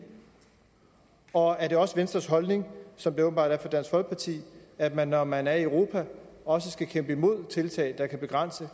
og er det også venstres holdning som det åbenbart er dansk folkepartis at man når man er i europa også skal kæmpe imod tiltag der kan begrænse